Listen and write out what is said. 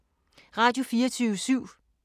Radio24syv